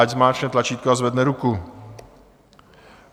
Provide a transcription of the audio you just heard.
Ať zmáčkne tlačítko a zvedne ruku.